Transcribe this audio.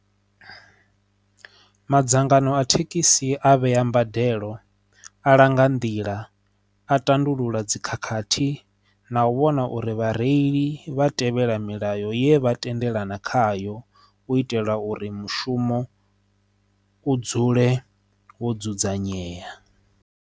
Madzangano a thekhisi a vhea mbadelo a langa nḓila a tandulula dzikhakhathi na u vhona uri vha reili vha tevhela milayo ye vha tendelana khayo u itela uri mushumo u dzule wo dzudzanyea.